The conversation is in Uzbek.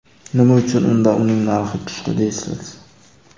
Nima uchun unda uning narxi tushdi dersiz?